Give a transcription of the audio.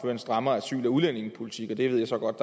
en strammere asyl og udlændingepolitik og det ved jeg så godt